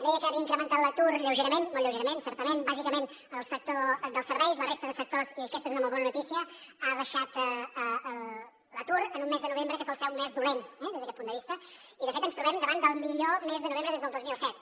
deia que havia incrementat l’atur lleugerament molt lleugerament certament bàsicament en el sector dels serveis a la resta de sectors i aquesta és una molt bona notícia ha baixat l’atur en un mes de novembre que sol ser un mes dolent des d’aquest punt de vista i de fet ens trobem davant del millor mes de novembre des del dos mil set